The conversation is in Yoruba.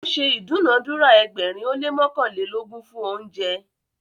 o ṣe idunadura ẹgbẹrin o le mọkanlelogun fún oúnjẹ